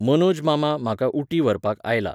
मनोज मामा म्हाका ऊटी व्हरपाक आयला!